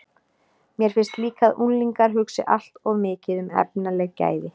Mér finnst líka að unglingar hugsi allt of mikið um efnaleg gæði.